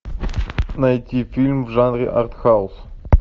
найти фильм в жанре артхаус